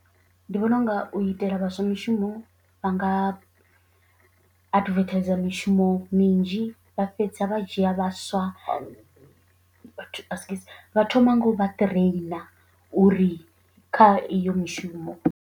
Ndi vhona unga u itela vhaswa mishumo vha nga advertiser mishumo minzhi vha fhedza vha dzhia vhaswa vhathu askies vha thoma ngo vha ṱireina uri kha iyo mishumo.